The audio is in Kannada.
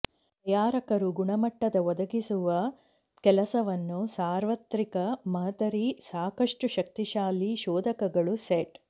ತಯಾರಕರು ಗುಣಮಟ್ಟದ ಒದಗಿಸುವ ಕೆಲಸವನ್ನು ಸಾರ್ವತ್ರಿಕ ಮಾದರಿ ಸಾಕಷ್ಟು ಶಕ್ತಿಶಾಲಿ ಶೋಧಕಗಳು ಸೆಟ್